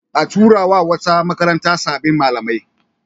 A tura wa wata makaranta sabbin malamai.